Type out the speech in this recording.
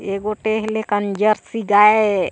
एगो टेह ले जर्सी गाय--